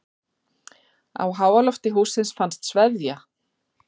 Á háalofti hússins fannst sveðja.